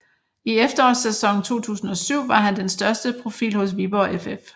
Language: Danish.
I efterårssæsonen 2007 var han den største profil hos Viborg FF